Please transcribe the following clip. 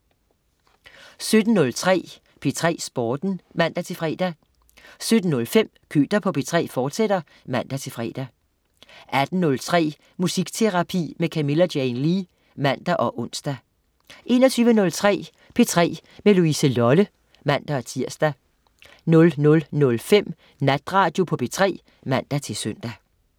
17.03 P3 Sporten (man-fre) 17.05 Køter på P3, fortsat (man-fre) 18.03 Musikterapi med Camilla Jane Lea (man og ons) 21.03 P3 med Louise Lolle (man-tirs) 00.05 Natradio på P3 (man-søn)